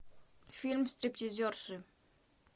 фильм стриптизерши